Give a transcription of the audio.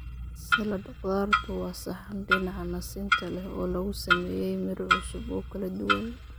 Salad khudaartu waa saxan dhinaca nasinta leh oo lagu sameeyay midho cusub oo kala duwan.